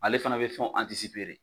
Ale fana bɛ fɛnw de.